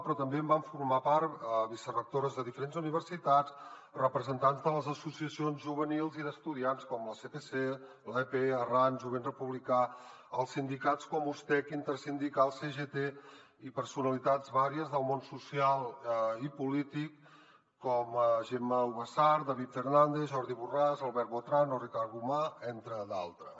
però també en van formar part vicerectores de diferents universitats representants de les associacions juvenils i d’estudiants com el sepc l’aep arran jovent republicà els sindicats com ustec intersindical cgt i personalitats diverses del món social i polític com gemma ubasart david fernàndez jordi borràs albert botran o ricard gomà entre d’altres